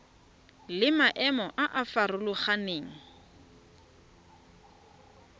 le maemo a a farologaneng